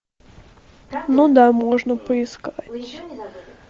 ну да можно поискать